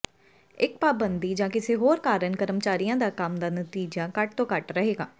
ਇੱਕ ਪਾਬੰਦੀ ਜਾਂ ਕਿਸੇ ਹੋਰ ਕਾਰਨ ਕਰਮਚਾਰੀਆਂ ਦਾ ਕੰਮ ਦਾ ਨਤੀਜਾ ਘੱਟ ਤੋਂ ਘੱਟ ਰਹੇਗਾ